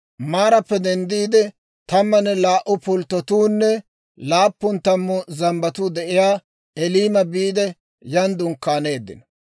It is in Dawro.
Maarappe denddiide, tammanne laa"u pulttotuunne laappun tammu zambbatuu de'iyaa Eliima biide, yan dunkkaaneeddino.